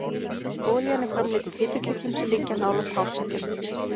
Olían er framleidd í fitukirtlum sem liggja nálægt hársekkjunum.